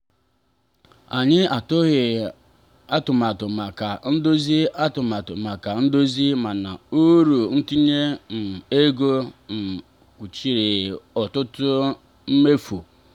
anyị atụghị atụmatụ maka ndozi atụmatụ maka ndozi mana uru ntinye um ego um kpuchiri ọtụtụ mmefu.